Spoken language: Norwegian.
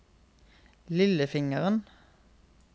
lillefingeren